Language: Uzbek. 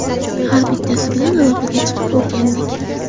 Har bittasi bilan aloqaga chiqib o‘rgandik.